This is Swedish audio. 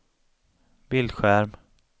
bildskärm